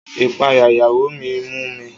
Ìpayà ìyàwó mi mú mi.